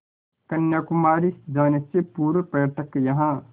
कन्याकुमारी जाने से पूर्व पर्यटक यहाँ